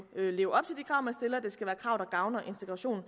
leve og det skal være krav der gavner integrationen